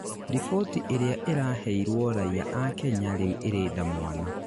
riboti ĩria ĩraheirwo raiya a Kenya rĩu irĩnda mwana